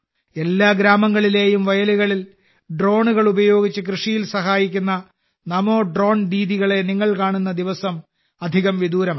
എല്ലാ ഗ്രാമങ്ങളിലെയും വയലുകളിൽ ഡ്രോണുകൾ ഉപയോഗിച്ച് കൃഷിയിൽ സഹായിക്കുന്ന നമോ ഡ്രോൺ ദീദികളെ നിങ്ങൾ കാണുന്ന ആ ദിവസം വിദൂരമല്ല